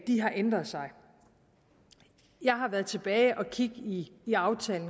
har ændret sig jeg har været tilbage for at kigge i den aftale